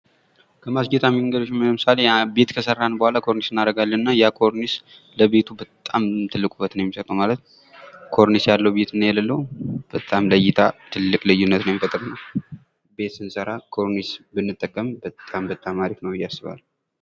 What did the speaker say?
ከማስጌጫ መንገዶች መካከል ለምሳሌ ቤት ከሰራን በኋላ ኮርኒስ እናደርጋለን እና ያ ኮርኒስ ለቤቱ በጣም ትልቅ ውበት ነው የሚሰጠው ማለት ኮርኒስ ያለው ቤትና የሌለው በጣም ለ እይታ ትልቅ ልዩነት የሚፈጥር ነው። ቤት ስንሰራ ኮርኒስ ብንጠቀም በጣም በጣም አሪፍ ነው ብዬ አስባለሁ።